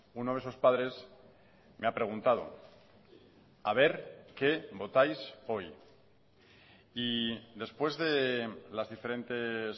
uno de esos padres me ha preguntado a ver qué votáis hoy y después de las diferentes